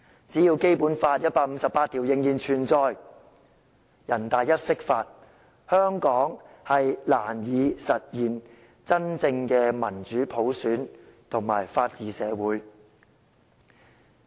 只要《基本法》第一百五十八條仍然存在，只要人大釋法，香港將難以實現真正的民主普選及法治社會。